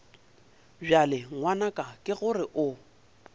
bjale ngwanaka ke gore o